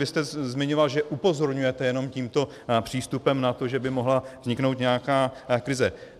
Vy jste zmiňoval, že upozorňujete jenom tímto přístupem na to, že by mohla vzniknout nějaká krize.